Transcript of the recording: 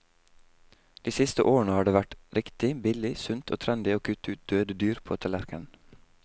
De siste årene har det vært riktig, billig, sunt og trendy å kutte ut døde dyr på tallerkenen.